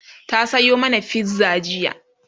ta Sayo mana fizza jiya